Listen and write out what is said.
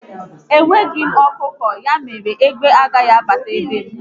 Enweghị m ọkụkọ, ya mere na égbé agaghị abata be m